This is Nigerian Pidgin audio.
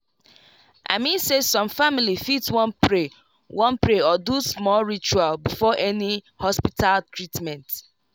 i mean say some family fit wan pray wan pray or do small ritual before any hospita treatment